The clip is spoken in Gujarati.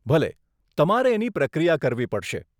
ભલે, તમારે એની પ્રક્રિયા કરવી પડશે.